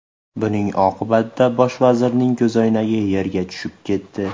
Buning oqibatida bosh vazirning ko‘zoynagi yerga tushib ketdi.